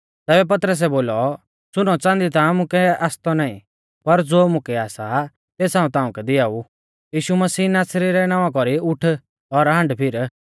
तैबै पतरसै बोलौ सुनौच़ांदी ता मुकै आसतौ नाईं पर ज़ो मुकै आसा तेस हाऊं ताउंकै दिआऊ यीशु मसीह नासरी रै नावां कौरी उठ और हांडफिर